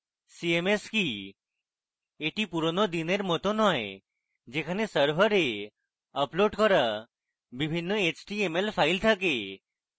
cms কি এটি পুরোনো দিনের cms নয় যেখানে সার্ভারে আপলোড করা বিভিন্ন html ফাইল থাকে